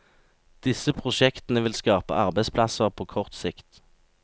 Disse prosjektene vil skape arbeidsplasser på kort sikt.